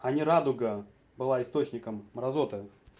а не радуга была источником мразоты